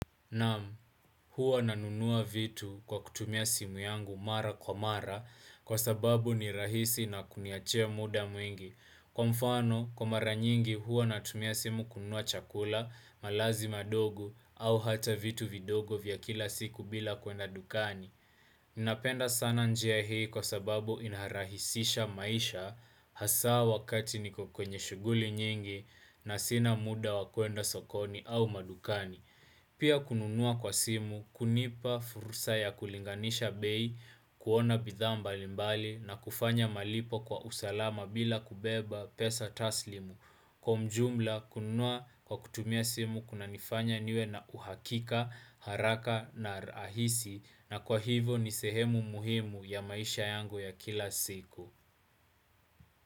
Naam, huwa nanunua vitu kwa kutumia simu yangu mara kwa mara kwa sababu ni rahisi na huniachia muda mwingi. Kwa mfano, kwa mara nyingi huwa natumia simu kununua chakula, malazi madogo au ata vitu vidogo vya kila siku bila kwenda dukani. Ninapenda sana njia hii kwa sababu inarahisisha maisha hasaa wakati niko kwenye shughuli nyingi na sina muda wa kwenda sokoni au madukani. Pia kununua kwa simu, hunipa fursa ya kulinganisha bei, kuona bidhaa mbalimbali na kufanya malipo kwa usalama bila kubeba pesa taslim. Kwa ujumla, kununua kwa kutumia simu, kunanifanya niwe na uhakika, haraka na rahisi na kwa hivyo ni sehemu muhimu ya maisha yangu ya kila siku.